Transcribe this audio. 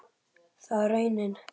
Það varð raunin.